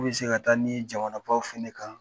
K'u bi se ka taa n'i ye jamanabaw fana kan.